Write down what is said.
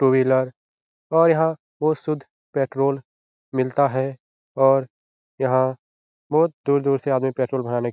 to wheeler और यहाँ बहुत शुद्ध पेट्रोल मिलता है और यहाँ बहुत दूर-दूर से आदमी पेट्रोल भराने --